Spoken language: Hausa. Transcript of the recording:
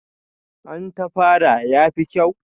An tafara, ya fi kyau?